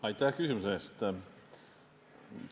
Aitäh küsimuse eest!